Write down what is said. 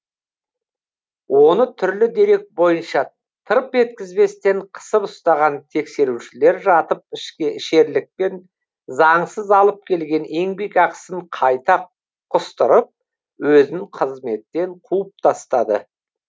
оны түрлі дерек бойынша тырп еткізбестен қысып ұстаған тексерушілер жатып ішерлікпен заңсыз алып келген еңбекақысын қайта құстырып өзін қызметтен қуып тастады